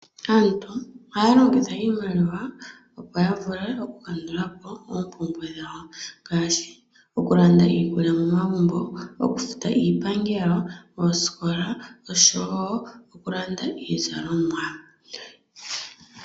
Aantu ohaya longitha iimaliwa opo ya vule oku kandulapo omikundu dhawo, ngaashi oku landa iikulya momagumbo, oku futa iipangelo, oosikola, oshowo oku landa iizalomwa.